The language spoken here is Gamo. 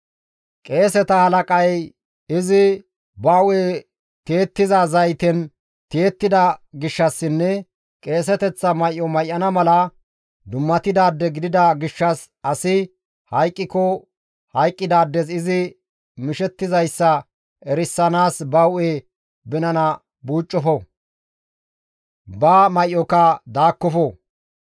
« ‹Qeeseta halaqay izi ba hu7e tiyettiza zaytey tiyettida gishshassinne qeeseteththa may7o may7ana mala dummatidaade gidida gishshas asi hayqqiko hayqqidaades izi mishettizayssa erisanaas ba hu7e binana buucoppo; ba may7oka daakkofo.